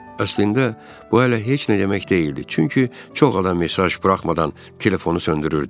Əslində bu hələ heç nə demək deyildi, çünki çox adam mesaj buraxmadan telefonu söndürürdü.